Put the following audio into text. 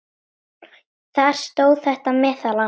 Þar stóð þetta meðal annars